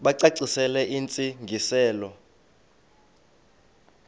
bacacisele intsi ngiselo